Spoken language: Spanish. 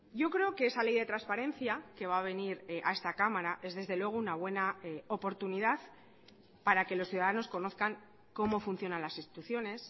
yo creo que esa ley de transparencia que va a venir a esta cámara es desde luego una buena oportunidad para que los ciudadanos conozcan cómo funcionan las instituciones